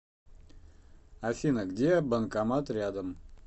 афина где банкомат рядом